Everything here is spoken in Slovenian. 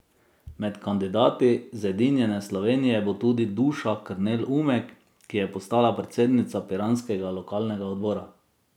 Med kandidati Zedinjene Slovenije bo tudi Duša Krnel Umek, ki je postala predsednica piranskega lokalnega odbora.